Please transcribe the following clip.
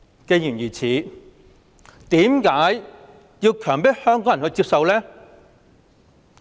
既然如此，為何要強迫香港人接受？